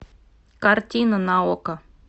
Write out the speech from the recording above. картина на окко